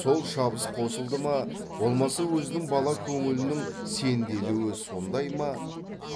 сол шабыс қосылды ма болмаса өзінің бала көңілінің сенделуі сондай ма